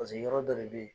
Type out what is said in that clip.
Paseke yɔrɔ dɔ de bɛ yen